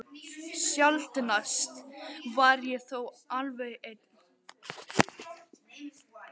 Sjaldnast var ég þó alveg ein.